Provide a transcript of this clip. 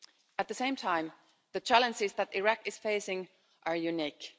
At the same time, the challenges that Iraq is facing are unique.